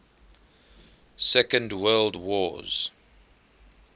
second world wars